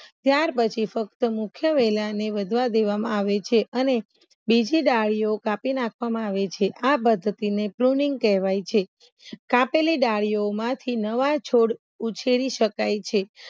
ત્યાર પછી ફક્ત મુખ્ય વેલાને વધવા દેવામાં આવે છે અને બીજી ડાળીઓ કાપી નાખવામાં છે આ કહેવાય છે કાપેલી ડાળીઓ માંથી નવા છોડ ઉછેરી શકાય છે